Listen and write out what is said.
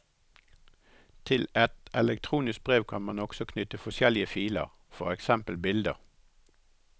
Til et elektronisk brev kan man også knytte forskjellige filer, for eksempel bilder.